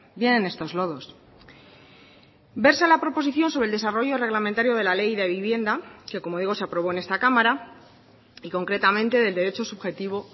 vienen estos lodos versa la proposición sobre el desarrollo reglamentario de la ley de vivienda que como digo se aprobó en esta cámara y concretamente del derecho subjetivo